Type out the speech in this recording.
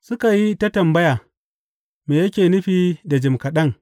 Suka yi ta tambaya, Me yake nufi da jim kaɗan’?